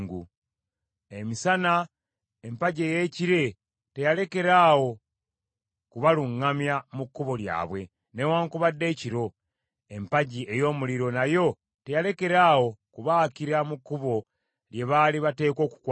“Emisana, empagi ey’ekire teyalekerawo kubaluŋŋamya mu kkubo lyabwe, newaakubadde ekiro, empagi ey’omuliro nayo teyalekerawo kubaakira mu kkubo lye baali bateekwa okukwata.